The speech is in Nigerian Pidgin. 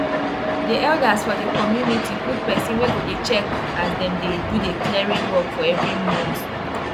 after i don check how much i spend put seed and how much food come out i go know if profit dey inside.